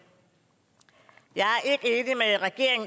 jeg er